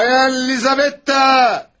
Bayan Lizabetta!